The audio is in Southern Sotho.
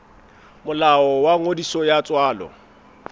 molao wa ngodiso ya tswalo